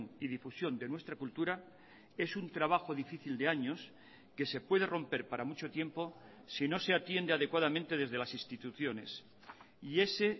y difusión de nuestra cultura es un trabajo difícil de años que se puede romper para mucho tiempo si no se atiende adecuadamente desde las instituciones y ese